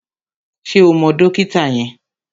Ṣé o mọ dókítà yẹn?